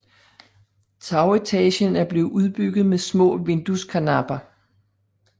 Tagetagen er blevet udbygget med små vindueskarnapper